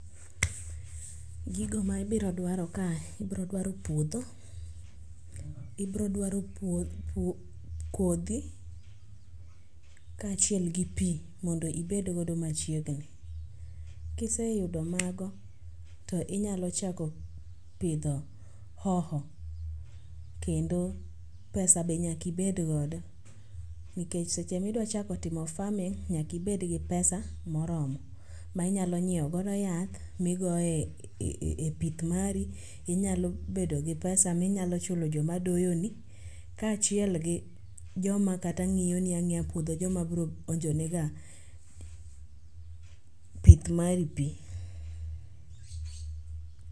Gigo ma ibiro dwaro kae ibrodwaro puodho, ibrodwaro kodhi kaachiel gi pi mondo ibedgodo machiegni. Kiseyudo mago to inyalo chako pidho hoho kendo pesa be nyaka ibedgodo nikech seche midwachako timo farming nyakibedgi pesa moromo ma inya nyieogodo yath migoyo e pith mari inyalo bedo gi pesa minyalo chulo joma doyoni kaachiel gi joma kata ng'iyoni ang'iya puodho joma bro onjonega pith mari pi.